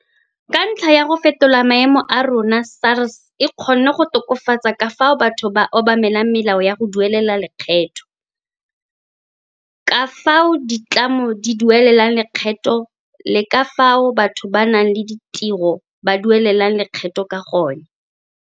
Ka ntlha ya go fetola maemo a yona SARS e kgonne go tokafatsa ka fao batho ba obamelang melao ya go duelela lekgetho, ka fao ditlamo di duelelang lekgetho le ka fao batho ba ba nang le ditiro ba duelelang lekgetho ka gone.